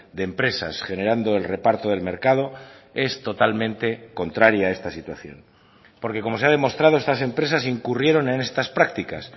de empresas generando el reparto del mercado es totalmente contraria a esta situación porque como se ha demostrado estas empresas incurrieron en estas prácticas